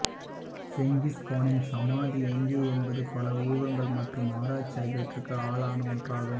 Genghis கானின் சமாதி எங்கே என்பது பல ஊகங்கள் மற்றும் ஆராய்ச்சி ஆகியவற்றிற்கு ஆளான ஒன்றாகும்